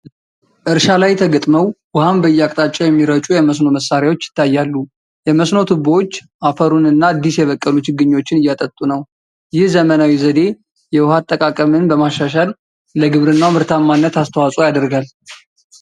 እርሻ ላይ ተገጥመው ውኃን በየአቅጣጫው የሚረጩ የመስኖ መሣሪያዎች ይታያሉ። የመስኖ ቱቦዎች አፈሩንና አዲስ የበቀሉ ችግኞችን እያጠጡ ነው። ይህ ዘመናዊ ዘዴ የውሃ አጠቃቀምን በማሻሻል፣ ለግብርናው ምርታማነት አስተዋጽኦ ያደርጋል።